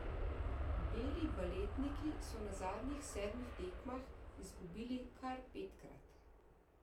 Beli baletniki so na zadnjih sedmih tekmah izgubili kar petkrat.